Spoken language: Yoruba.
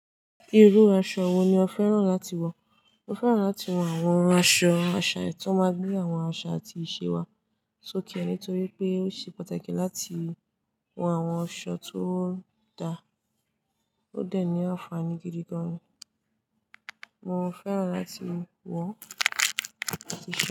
Irú aṣọ wo ni o fẹ́ràn láti wọ̀? Mo fẹ́ràn láti wọ àwọn aṣọ àṣà, èyí tó máa gbé àwọn àṣà àti ìṣe wa sókè, nítorí pé ó ṣe pàtàkì láti wọ àwọn aṣọ tó da. Ó dẹ̀ ní àǹfààní gidi gan. Mo fẹ́ràn láti wọ òkè.